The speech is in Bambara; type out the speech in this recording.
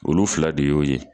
Olu fila de y'o ye